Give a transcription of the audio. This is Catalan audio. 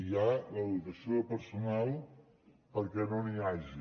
hi ha la dotació de personal perquè no n’hi hagi